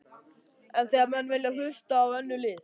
En þegar menn vilja hlusta á önnur lið?